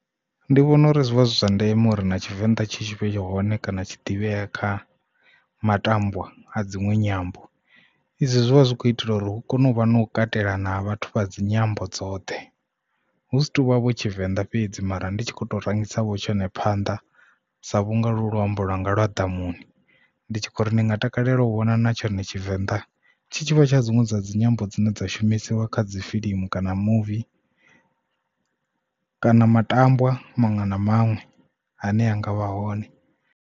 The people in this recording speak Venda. Ndi vhona uri zwivha zwi zwa ndeme uri na tshivenḓa tshi tshi vhe hone kana tshi ḓivhee kha matambwa a dzinwe nyambo izwi zwivha zwi kho itelwa uri hu kone u vha na u katela na vhathu vha dzi nyambo dzoṱhe hu si tuvha vho tshivenḓa fhedzi mara ndi tshi kho to rangisa vho tshone phanḓa sa vhunga lu luambo lwanga lwa ḓamuni ndi tshi khou ri ndi nga takalela u vhona na tshone tshivenḓa tshitshavha tsha dzinwe dza dzinyambo dzine dza shumisiwa kha dzi fiḽimu kana muvi kana matambwa maṅwe na maṅwe ane anga vha hone.